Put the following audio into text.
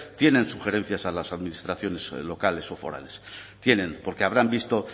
tienen sugerencias a las administraciones locales o forales tienen porque habrán visto